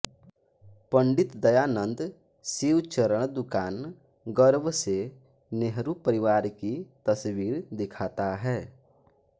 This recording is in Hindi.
पंडित दयानंद शिव चरण दुकान गर्व से नेहरू परिवार की तस्वीर दिखाता है